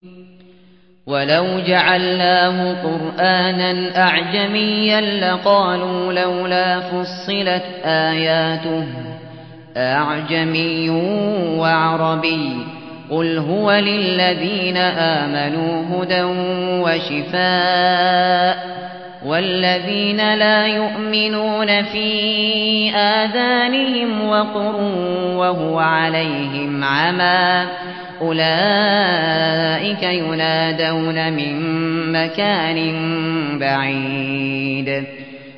وَلَوْ جَعَلْنَاهُ قُرْآنًا أَعْجَمِيًّا لَّقَالُوا لَوْلَا فُصِّلَتْ آيَاتُهُ ۖ أَأَعْجَمِيٌّ وَعَرَبِيٌّ ۗ قُلْ هُوَ لِلَّذِينَ آمَنُوا هُدًى وَشِفَاءٌ ۖ وَالَّذِينَ لَا يُؤْمِنُونَ فِي آذَانِهِمْ وَقْرٌ وَهُوَ عَلَيْهِمْ عَمًى ۚ أُولَٰئِكَ يُنَادَوْنَ مِن مَّكَانٍ بَعِيدٍ